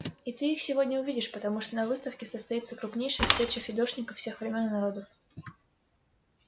и ты их сегодня увидишь потому что на выставке состоится крупнейшая встреча фидошников всех времён и народов